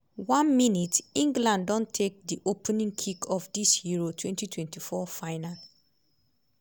1 min - england don take di opening kick of dis euro 2024 final.